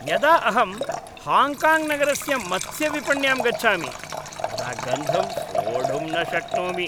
यदा अहं हाङ्ग्काङ्ग्नगरस्य मत्स्यविपण्यां गच्छामि तदा गन्धं सोढुं न शक्नोमि।